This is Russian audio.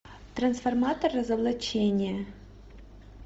трансформатор разоблачение